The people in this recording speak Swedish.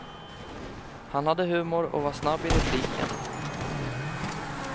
Han hade humor och var snabb i repliken.